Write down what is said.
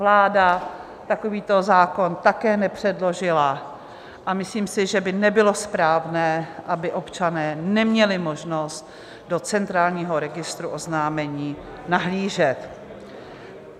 Vláda takovýto zákon také nepředložila a myslím si, že by nebylo správné, aby občané neměli možnost do centrálního registru oznámení nahlížet.